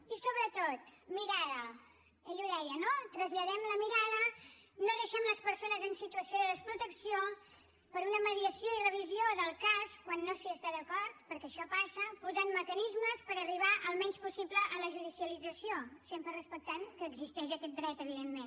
i sobretot mirada ell ho deia no traslladem la mirada no deixem les persones en situació de desprotecció per una mediació i revisió del cas quan no s’hi està d’acord perquè això passa posem mecanismes per arribar al menys possible a la judicialització sempre respectant que existeix aquest dret evidentment